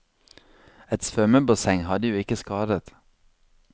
Et svømmebasseng hadde jo ikke skadet.